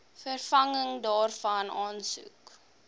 vervanging daarvan aansoek